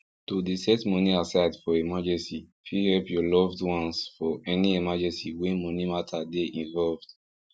to dey set money aside for emergency fit help your loved ones for any emergency wey money matter dey involved